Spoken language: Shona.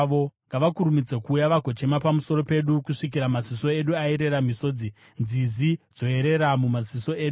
Ngavakurumidze kuuya vagochema pamusoro pedu kusvikira maziso edu ayerera misodzi, nzizi dzoyerera mumaziso edu.